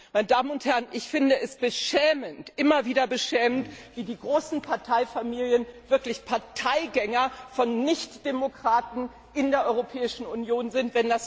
Meine Damen und Herren, ich finde es immer wieder beschämend, wie die großen Parteienfamilien wirklich Parteigänger von Nichtdemokraten in der Europäischen Union sind.